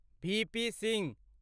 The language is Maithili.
वी. पी. सिंह